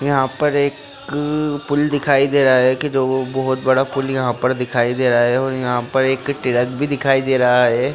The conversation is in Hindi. यहाँ पर एक पुल दिखाई दे रहा है की जो बहुत बड़ा पुल यहाँ पर दिखाई दे रहा है और यहाँ पर एक ट्रक भी दिखाई दे रहा है।